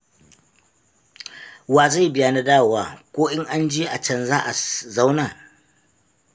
Wa zai biya na dawowa. Ko in an je a can za a zauna?